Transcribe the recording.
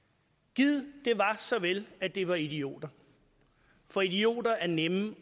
gid det var så vel at det var idioter for idioter er nemme